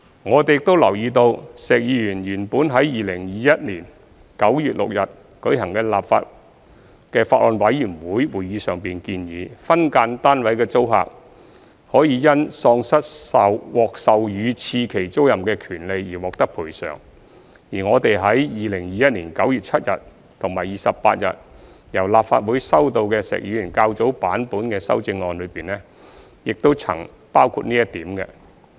我們亦留意到，石議員原本於2021年9月6日舉行的法案委員會會議上建議，分間單位的租客可因喪失獲授予次期租賃的權利而獲得賠償，而我們於2021年9月7日及28日由立法會收到的石議員較早版本的修正案中，亦曾包括這點。